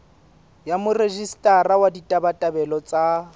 ya morejistara wa ditabatabelo tsa